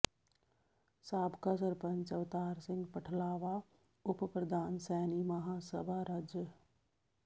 ਸਾਬਕਾ ਸਰਪੰਚ ਅਵਤਾਰ ਸਿੰਘ ਪਠਲਾਵਾ ਉਪ ਪ੍ਧਾਨ ਸੈਣੀ ਮਹਾਂ ਸਭਾ ਰਜਿ